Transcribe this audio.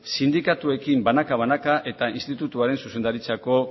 sindikatuekin banaka banaka eta institutuaren zuzendaritzako